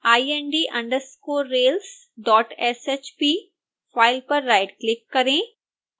ind_railsshp file पर right click करें